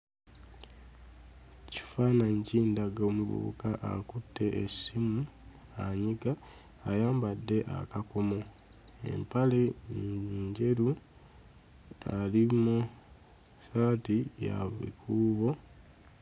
Ekifaananyi kindaga omuvubuka akutte essimu anyiga, ayambadde akakomo, empale enjeru ali mu ssaati ya bukuubo